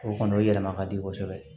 O kɔni o yɛlɛma ka di kosɛbɛ